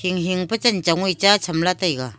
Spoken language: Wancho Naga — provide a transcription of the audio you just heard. hing hing pa chanchong wai cha chamla taiga.